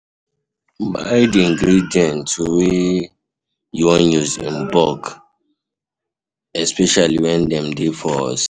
Buy di ingredients wey you wan use in bulk especially when dem dey for season